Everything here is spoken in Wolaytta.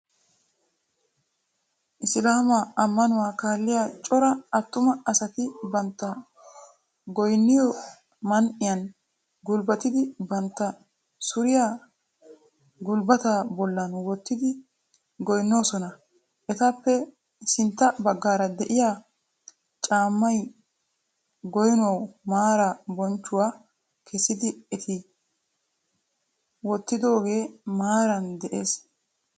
Isilaama ammanuwaa kaalliya cora attuma asati bantta goynniyoo man'iyan gulbatidi bantta kushiya gulbataa bollan wottidi goynnoosona. Etappe sintta baggaara de"iyaa caammay goynuwa maara bonchchanawu kessidi eti wottidooge maaran de'ees.